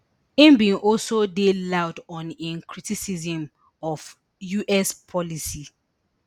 im bin also dey loud on im criticism of us policy